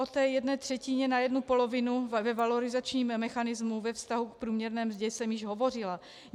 O té jedné třetině na jednu polovinu ve valorizačním mechanismu, ve vztahu k průměrné mzdě jsem již hovořila.